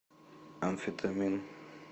амфетамин